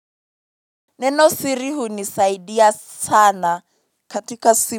Neno siri hunisaidia sana katika simu.